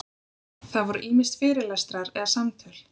Það voru ýmist fyrirlestrar eða samtöl.